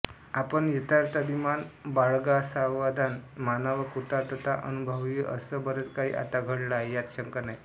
आपण यथार्थ अभिमान बाळगावासमाधान मानावं कृतार्थता अनुभवावीअसं बरंच काही आता घडलं आहे यात शंका नाही